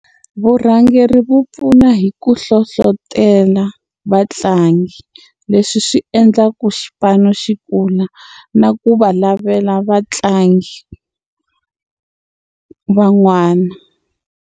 Vurhangeri vu pfuna hi ku hlohlotela vatlangi leswi swi endla ku xipano xi kula na ku va lavela vatlangi van'wana.